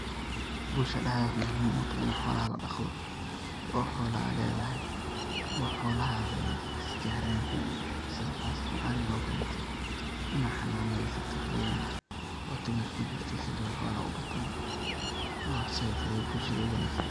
Bulshada aad ayey muhim ogutahay in xolaha ladqaqdo oo xolo ad ledahay oo xolahadha ey isgaran sidha qasatan ariga oo kalete in ad xananeysato iyadhana wa tu mesha kujirta sifa ey xolaha ubatan said ayey bulshada ogu wanagsantahay